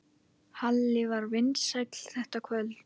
Halli var vinsæll þetta kvöld.